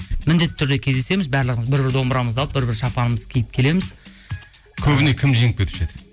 міндетті түрде кездесеміз барлығымыз бір бір домбырамызды алып бір бір шапанымызды киіп келеміз көбіне кім жеңіп кетуші еді